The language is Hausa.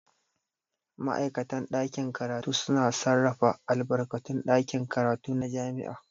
Ma'aikatan ɗakin karatu suna sarrafa albarkatun ɗakin karatu na jami'a.